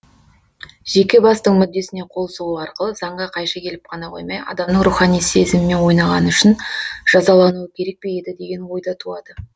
жеке бастың мүддесіне қол сұғу арқылы заңға қайшы келіп қана қоймай адамның рухани сезімімен ойнағаны үшін жазалануы керек пе еді деген ой да туады